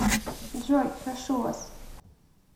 джой прошу вас